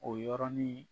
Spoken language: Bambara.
O y yɔrɔnin